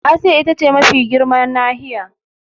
Asiya ita ce mafi girman nahiya.